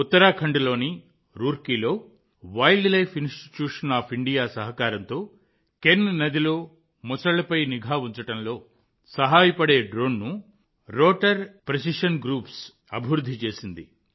ఉత్తరాఖండ్లోని రూర్కీలో wildlife institute of India సహకారంతో కెన్ నదిలో మొసళ్లపై నిఘా ఉంచడంలో సహాయపడే డ్రోన్ను రోటార్ ప్రెసిషన్ గ్రూప్స్ అభివృద్ధి చేసింది